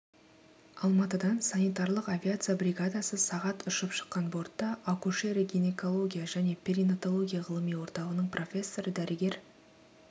алматыдан санитарлық авиация бригадасы сағат ұшып шыққан бортта акушерия гинекология және перинаталогия ғылыми орталығының профессоры дәрігер